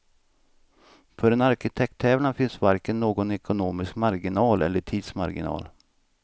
För en arkitekttävlan finns varken någon ekonomisk marginal eller tidsmarginal.